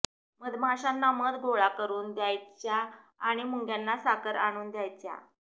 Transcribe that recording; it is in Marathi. मधमाश्यांना मध गोळा करून द्यायच्या आणि मुग्यांना साखर आणून द्यायच्या